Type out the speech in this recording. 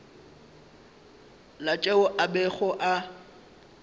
la tšeo a bego a